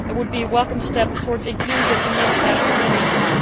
It would also be a welcome step towards its inclusion in the international community.